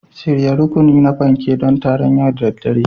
Shirya rukuni na fanke don taron yau da daddare